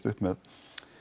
upp með